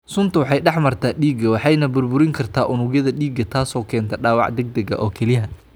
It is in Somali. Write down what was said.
Suntu waxay dhex martaa dhiigga waxayna burburin kartaa unugyada dhiigga, taasoo keenta dhaawac degdeg ah kelyaha.